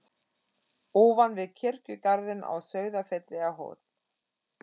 Ofan við kirkjugarðinn á Sauðafelli er hóll.